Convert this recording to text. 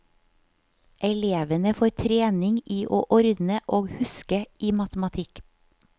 Elevene får trening i å ordne og huske i matematikk.